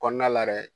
Kɔnɔna la yɛrɛ